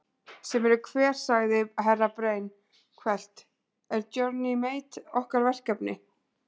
Sem eru hver sagði Herra Brian hvellt, er Johnny Mate okkar verkefni?